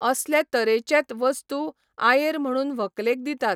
असले तरेचेत वस्तू आयेर म्हणून व्हंकलेक दितात.